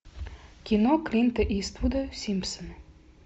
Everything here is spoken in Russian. кино клинта иствуда симпсоны